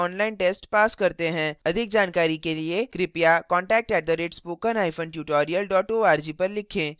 अधिक जानकारी के लिए कृपया contact @spokentutorial org पर लिखें